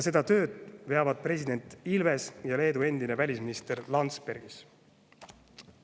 Seda tööd veavad president Ilves ja Leedu endine välisminister Landsbergis.